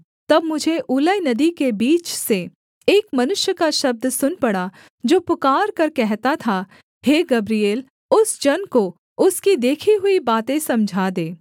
तब मुझे ऊलै नदी के बीच से एक मनुष्य का शब्द सुन पड़ा जो पुकारकर कहता था हे गब्रिएल उस जन को उसकी देखी हुई बातें समझा दे